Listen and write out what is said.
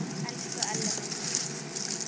Elsku Elli minn.